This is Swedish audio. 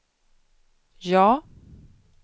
ja